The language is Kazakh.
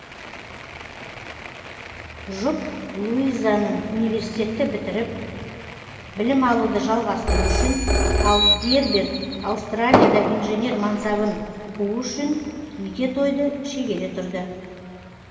жұп луизаның университетті бітіріп білім алуды жалғастыру үшін ал герберт аустралияда инженер мансабын қуу үшін неке тойды шегере тұрды